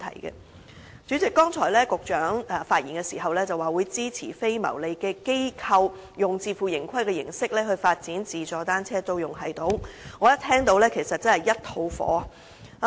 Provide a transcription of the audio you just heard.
代理主席，局長剛才發言時表示會支持非牟利機構以自負盈虧的形式發展自助單車租用系統，我一聽到便滿腔怒火。